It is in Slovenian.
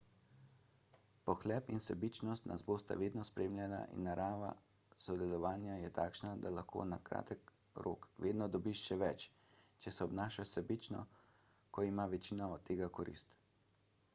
pohlep in sebičnost nas bosta vedno spremljala in narava sodelovanja je takšna da lahko na kratki rok vedno dobiš še več če se obnašaš sebično ko ima večina od tega korist